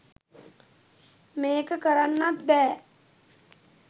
මේක කරන්නත් බෑ.